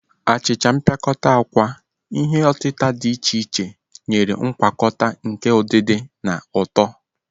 Achicha mpịakọta akwa, ihe otita dị iche iche, nyere ngwakọta nke udidi na ụtọ..